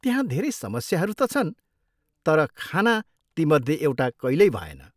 त्यहाँ धेरै समस्याहरू त छन् तर खाना तीमध्ये एउटा कहिल्यै भएन!